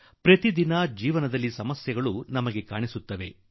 ದಿನನಿತ್ಯದ ಬದುಕಿನಲ್ಲಿ ನಮಗೆ ಸಮಸ್ಯೆಗಳು ಕಾಣುತ್ತವೆ